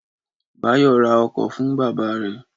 Báyọ̀ ra ọkọ̀ fún bábà rẹ̀